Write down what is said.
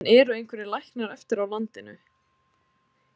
En eru einhverjir læknar eftir á landinu?